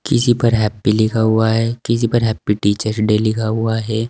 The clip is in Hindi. किसी पर हैप्पी लिखा हुआ है। किसी पर हैप्पी टीचर्स डे लिखा हुआ है।